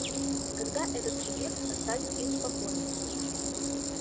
когда этот субъект оставит их в покое